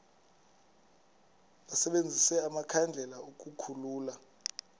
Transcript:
basebenzise amakhandlela ukukhulula